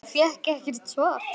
En fékk ekkert svar.